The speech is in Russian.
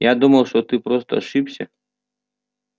я думал что ты просто ошибся